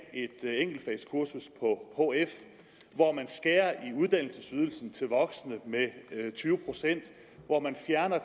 et enkeltfagskursus på hf hvor man skærer i uddannelsesydelsen til voksne med tyve procent og hvor man fjerner